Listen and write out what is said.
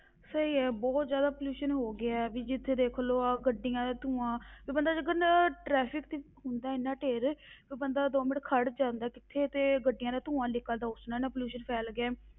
ਸਹੀ ਹੈ ਬਹੁਤ ਜ਼ਿਆਦਾ pollution ਹੋ ਗਿਆ ਹੈ, ਵੀ ਜਿੱਥੇ ਦੇਖ ਲਓ ਆਹ ਗੱਡੀਆਂ ਦਾ ਧੂੰਆ ਵੀ ਬੰਦਾ ਜੇਕਰ ਨਾ traffic ਤੇ ਹੁੰਦਾ ਇੰਨਾ ਢੇਰ ਕੋਈ ਬੰਦਾ ਦੋ ਮਿੰਟ ਖੜ ਜਾਂਦਾ ਕਿੱਥੇ ਤੇ ਗੱਡੀਆਂ ਦਾ ਧੂੰਆ ਨਿਕਲਦਾ, ਉਸ ਨਾਲ ਇੰਨਾ pollution ਫੈਲ ਗਿਆ ਹੈ.